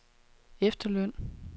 efterløn